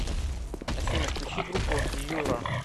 афина включи группу юра